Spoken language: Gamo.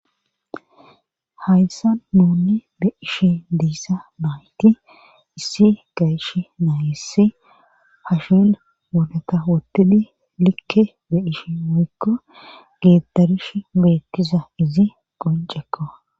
hayssa nuunni be'ishe diissa baayti issi gayish naayissi hashin woneta wottidi likke be ish muyikko geettarish beettiza izi qoncekko